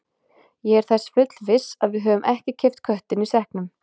Ég er þess fullviss að við höfum ekki keypt köttinn í sekknum.